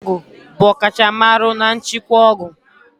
Onye na-ere ọgwụ bụ ọkachamara na nchịkwa ọgwụ.